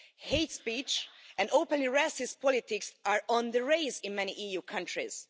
Hate speech and openly racist politics are on the rise in many EU countries.